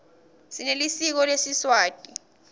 sinelisiko lesiswati